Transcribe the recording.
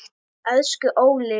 Elsku Óli.